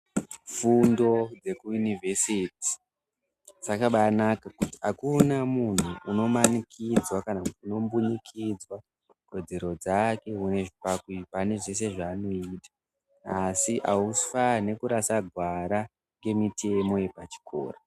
Fundo dzekuInivhesiti dzakabaanaka, ngekuti akuna munhu unomanikidzwa kana kuti unombunikidzwa kodzero dzake pane zvese zvaanoita asi aufanhi kurasa gwara remitemo yepa chikora.